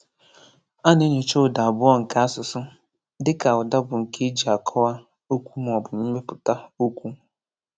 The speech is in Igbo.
A na-enyocha ụda abụọ nke asụsụ, dịka ụda bụ nke e ji akọwa okwu maọbụ mepụta okwu.